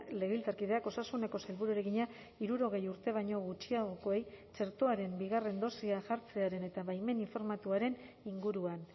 legebiltzarkideak osasuneko sailburuari egina hirurogei urte baino gutxiagokoei txertoaren bigarren dosia jartzearen eta baimen informatuaren inguruan